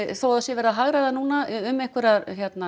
þó það sé verið að hagræða núna um einhverja